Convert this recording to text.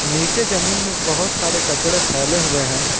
नीचे जमीन में बहुत सारे कचड़े फैले हुए हैं।